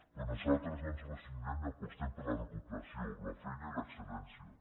però nosaltres no ens hi resignem i apostem per la recuperació la feina i l’excel·lència